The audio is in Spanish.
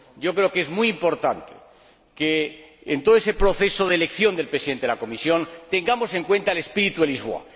Creo que es muy importante que, en todo ese proceso de elección del Presidente de la Comisión, tengamos en cuenta el espíritu de Lisboa.